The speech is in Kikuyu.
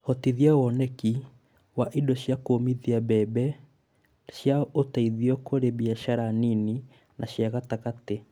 Hotithia woneki wa indo cia kuumithia mbembe cia ũteithio kũrĩ biashara nini na cia gatagatĩ